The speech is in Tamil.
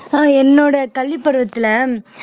ஆஹ் என்னோட கல்வி பருவத்தில